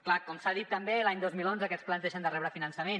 clar com s’ha dit també l’any dos mil onze aquests plans deixen de rebre finançament